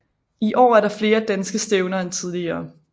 I år er der flere danske stævner end tidligere